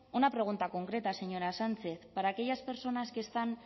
una pregunta concreta señora sánchez para aquellas personas que están